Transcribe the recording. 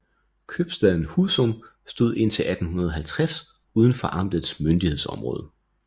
Købstaden Husum stod indtil 1850 uden for amtets myndighedsområde